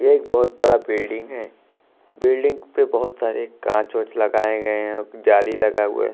एक बहोत बड़ा बिल्डिंग है बिल्डिंग पे बहोत सारे कांच ओंच लगाए गए हैं जाली लगा हुआ--